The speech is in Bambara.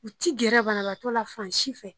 U ti gɛrɛ banabagatɔ la fan si fɛ.